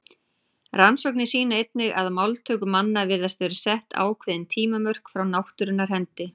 Rannsóknir sýna einnig að máltöku manna virðast vera sett ákveðin tímamörk frá náttúrunnar hendi.